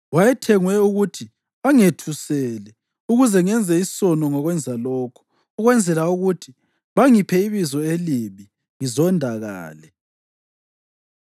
Wayethengwe ukuthi angethuse ukuze ngenze isono ngokwenza lokhu, ukwenzela ukuthi bangiphe ibizo elibi ngizondakale.